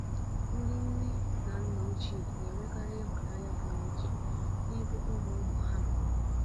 Ndị nne na nna ochie na-enwekarị ịhụnanya pụrụ iche n'ebe ụmụ-ụmụ ha nọ.